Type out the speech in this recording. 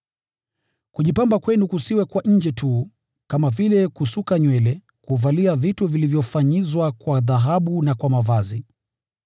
Kujipamba kwenu kusiwe kwa nje tu, kama vile kusuka nywele, kuvalia vitu vilivyofanyizwa kwa dhahabu na kwa mavazi.